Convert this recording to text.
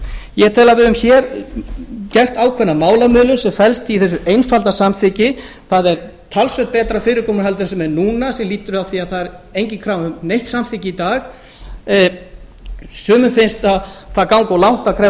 ég tel að við höfum hér gert ákveðna málamiðlun sem felst í þessu einfalda samþykki það er talsvert betra fyrirkomulag en það sem er núna sem stafar af því að það er engin krafa um neitt samþykki í dag sumum finnst það ganga of langt að krefjast